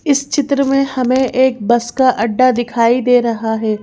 इस चित्र में हमें एक बस का अड्डा दिखाई दे रहा है।